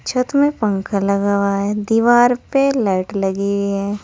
छत में पंखा लगा हुआ है दीवार पर लाइट लगी है।